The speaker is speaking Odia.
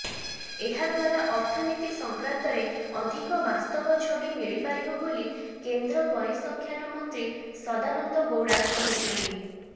ଏହାଦ୍ୱାରା ଅର୍ଥନୀତି ସଂକ୍ରାନ୍ତରେ ଅଧିକ ବାସ୍ତବ ଛବି ମିଳିପାରିବ ବୋଲି କେନ୍ଦ୍ର ପରିସଂଖ୍ୟାନ ମନ୍ତ୍ରୀ ସଦାନନ୍ଦ ଗୌଡ଼ା କହିଛନ୍ତି